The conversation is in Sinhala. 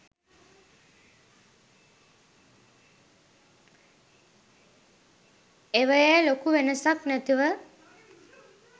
ඒවයෙ ලොකු වෙනසක් නැතුව